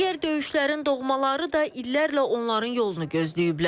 Digər döyüşlərin doğmaları da illərlə onların yolunu gözləyiblər.